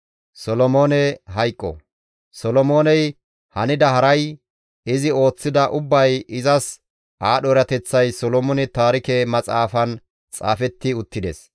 Solomooney hanida haray, izi ooththida ubbay, izas aadho erateththay Solomoone Taarike Maxaafan xaafetti uttides.